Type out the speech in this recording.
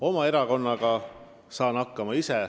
Oma erakonnaga saan ise hakkama.